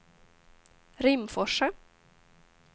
Rimforsa